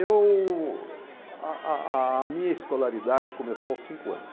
Eu, a a a minha escolaridade começou aos cinco anos.